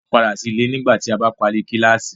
Màá padà sí ilé nígbà tí a bá parí kíláásì.